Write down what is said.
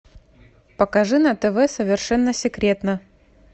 покажи на тв совершенно секретно